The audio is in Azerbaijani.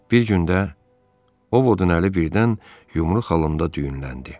Bir gün də, Ovodun əli birdən yumru xalında düyünləndi.